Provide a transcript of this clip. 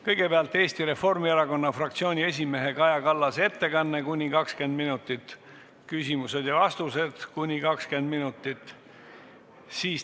Kõigepealt on Eesti Reformierakonna fraktsiooni esimehe Kaja Kallase ettekanne kuni 20 minutit ja küsimused-vastused kuni 20 minutit.